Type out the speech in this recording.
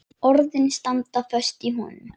Orðin standa föst í honum.